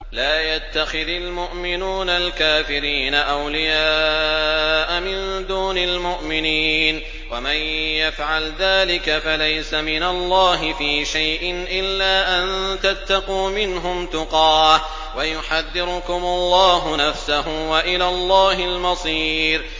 لَّا يَتَّخِذِ الْمُؤْمِنُونَ الْكَافِرِينَ أَوْلِيَاءَ مِن دُونِ الْمُؤْمِنِينَ ۖ وَمَن يَفْعَلْ ذَٰلِكَ فَلَيْسَ مِنَ اللَّهِ فِي شَيْءٍ إِلَّا أَن تَتَّقُوا مِنْهُمْ تُقَاةً ۗ وَيُحَذِّرُكُمُ اللَّهُ نَفْسَهُ ۗ وَإِلَى اللَّهِ الْمَصِيرُ